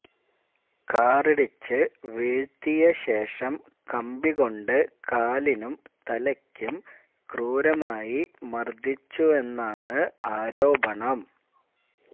കാറിടിച്ച് വീഴ്ത്തിയ ശേഷം കമ്പി കൊണ്ട് കാലിനും തലയ്ക്കും ക്രൂരമായി മര്ദ്ദിച്ചുവെന്നാണ് ആരോപണം